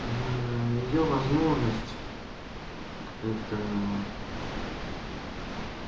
её возможность это